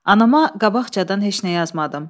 Anama qabaqcadan heç nə yazmadım.